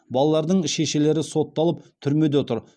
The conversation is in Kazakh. балалардың шешелері сотталып түрмеде отыр